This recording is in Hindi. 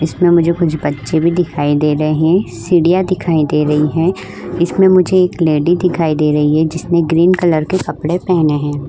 इसमें मुझे कुछ बच्चे भी दिखाई दे रहे हैं। सीढियाँ दिखाई दे रही हैं। इसमें मुझे एक लेडी दिखाई दे रही है जिसने ग्रीन कलर के कपडे पहने हैं।